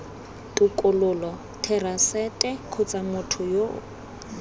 tokololo therasete kgotsa motho yo